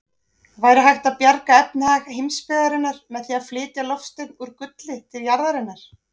Væri hægt að bjarga efnahag heimsbyggðarinnar með því að flytja loftstein úr gulli til jarðarinnar?